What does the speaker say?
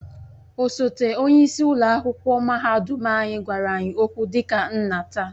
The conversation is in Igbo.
Osote onye isi ụlọ akwụkwọ mahadum anyị gwara anyị okwu dị ka nna taa